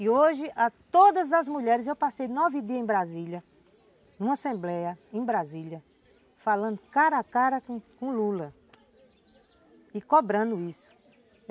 E hoje, a todas as mulheres, eu passei nove dias em Brasília, numa assembleia em Brasília, falando cara a cara com com Lula e cobrando isso.